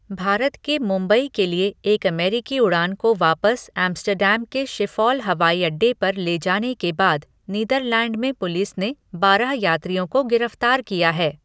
भारत के मुंबई के लिए एक अमेरिकी उड़ान को वापस एम्स्टर्डम के शिफॉल हवाई अड्डे पर ले जाने के बाद नीदरलैंड में पुलिस ने बारह यात्रियों को गिरफ्तार किया है।